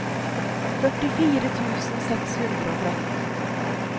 førtifire tusen seks hundre og tretten